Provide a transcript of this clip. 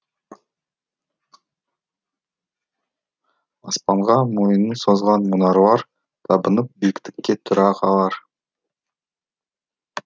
аспанға мойнын созған мұнаралар табынып биіктікке тұра қалар